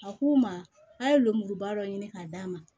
A k'u ma a ye lomuruba dɔ ɲini k'a d'a ma